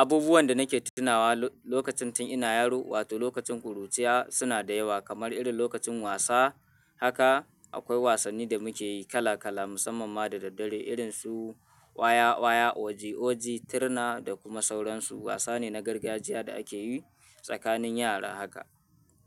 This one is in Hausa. Abubuwan da nake tunawa lokacin tun ina yaro wato lokacin ƙuruciya suna da yawa kamar irin lokacin wasa. Haka akwai wasanni da muke yi kala kala musamman ma da daddare irin su waya waya, oji oji, tirna da kuma sauransu. Wasa ne na gargajiya da ake yi tsakanin yara haka.